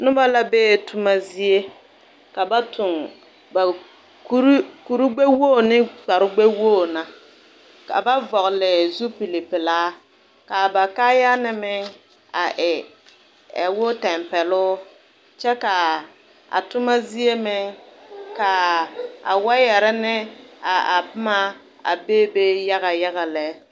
Noba la be toma zie. Ka ba toŋ ba kur kur-gbɛ-wogi ne kpare-gbɛwog na. Ka ba vɔgele zupilpelaa. Kaa ba kaayaa na meŋ a e a wo tɛmpɛloo kyɛ kaaa a toma zie meŋ kaa a wayare ne a boma a be be yaga yaga lɛ.